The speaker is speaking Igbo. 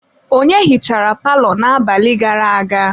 Onye hichara palọ n'abalị gara-aga?